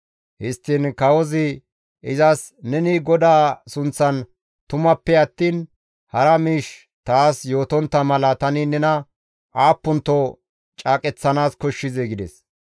Histtiin kawozi izas, «Neni GODAA sunththan tumappe attiin hara miish taas yootontta mala tani nena aappunto caaqeththanaas koshshizee?» gides.